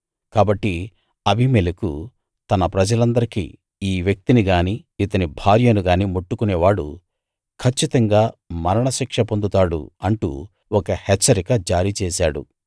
కాబట్టి అబీమెలెకు తన ప్రజలందరికీ ఈ వ్యక్తిని గానీ ఇతని భార్యను గానీ ముట్టుకునే వాడు కచ్చితంగా మరణశిక్ష పొందుతాడు అంటూ ఒక హెచ్చరిక జారీ చేశాడు